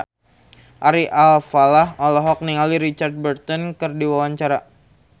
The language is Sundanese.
Ari Alfalah olohok ningali Richard Burton keur diwawancara